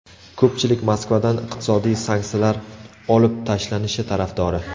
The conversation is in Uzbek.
Ko‘pchilik Moskvadan iqtisodiy sanksiyalar olib tashlanishi tarafdori.